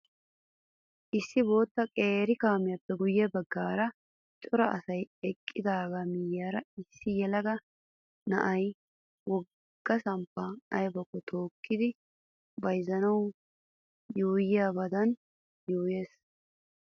Issi bootta qeeri kaameeppe guyye baggaara cora asayi eqqidaaga miyyiyaara issi yelaga na"ayi wogga samppan ayibakko tookkidi bayizzanawu yuuyyiyaabadan yuuyyes.